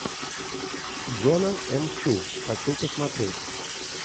джона м чу хочу посмотреть